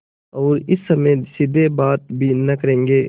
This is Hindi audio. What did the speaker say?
और इस समय सीधे बात भी न करेंगे